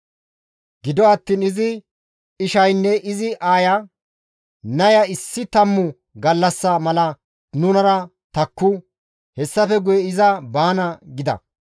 Gido attiin izi ishaynne izi aaya, «Naya issi tammu gallassa mala nunara takku; hessafe guye iza baana» gida.